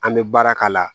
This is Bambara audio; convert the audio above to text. An bɛ baara k'a la